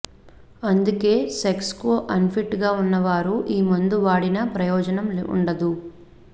అందుకే సెక్స్కు అన్ఫిట్గా ఉన్నవారు ఈ మందు వాడినా ప్రయోజనం ఉండదు